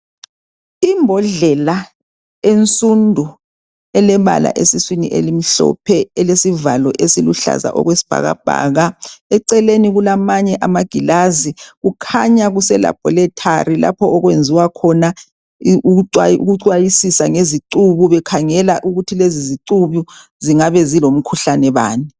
Imbodlela ensundu elebala esiswini elimhlophe elesivalo esiluhlaza okwesibhakabhaka eceleni kulamanye amagilazi. Kukhanya kuselabholethari lapho okwenziwa khona ukucwayisisa ngezicibu bekhangela ukuthi lezi zicubu zingabe zilomkhuhlane bani.